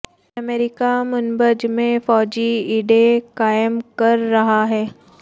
امریکہ Manbij میں فوجی اڈے قائم کر رہا ہے